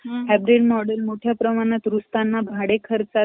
hybrid model मोठ्या प्रमाणात रुजताना भाडे खर्चात ,